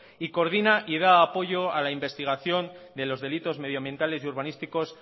y coordina y da apoyo a la investigación de los delitos medioambientales y urbanísticos